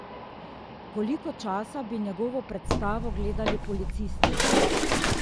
Koliko časa bi njegovo predstavo gledali policisti?